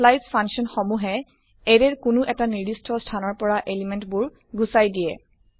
স্প্লাইচ function সমুহে array ৰ কোনো এটা নিৰ্দিস্ট স্থানৰ পৰা এলিমেন্ট বোৰ গুচাই দিয়ে